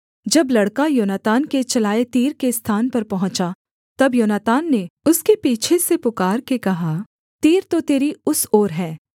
जब लड़का योनातान के चलाए तीर के स्थान पर पहुँचा तब योनातान ने उसके पीछे से पुकारके कहा तीर तो तेरी उस ओर है